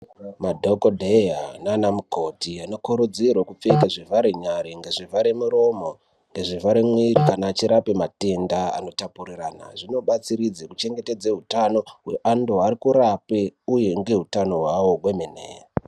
Madhokoteya nana mukoti anokurudzirwa kupfeka zvivhare nyara, zvivhare muromo nezvivhare mwiri kana achirapa matenda anotapurirwana zvinobatsiridza kuchengetedza hutano hweavo vari kurapwa uye nehutano hwavo hwemene.